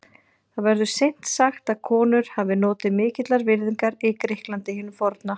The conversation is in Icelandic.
Það verður seint sagt að konur hafi notið mikillar virðingar í Grikklandi hinu forna.